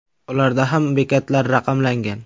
Ularda ham bekatlar raqamlangan .